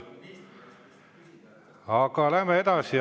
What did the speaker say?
Aga läheme edasi.